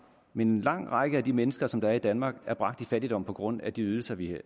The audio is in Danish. men en lang række af de mennesker som er i danmark er bragt i fattigdom på grund af de ydelser vi